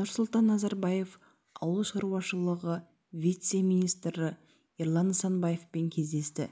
нұрсұлтан назарбаев ауыл шаруашылығы вице-министрі ерлан нысанбаевпен кездесті